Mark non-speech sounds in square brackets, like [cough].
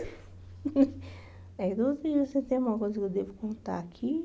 [laughs] É duro que se tem alguma coisa que eu devo contar aqui.